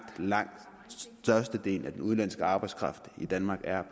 langt størstedelen af den udenlandske arbejdskraft i danmark er